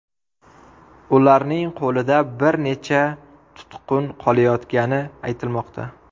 Ularning qo‘lida bir necha tutqun qolayotgani aytilmoqda.